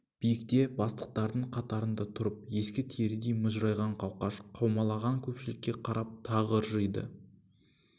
биікте бастықтардың қатарында тұрып ескі терідей мыжырайған қауқаш қаумалаған көпшілікке қарап тағы ыржиды